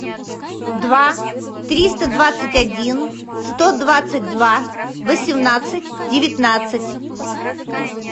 два триста двадцать один сто двадцать два восемнадцать девятнадцать